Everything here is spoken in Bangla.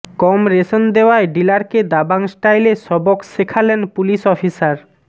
কম রেশন দেওয়ায় ডিলারকে দাবাং স্টাইলে সবক শেখালেন পুলিশ অফিসার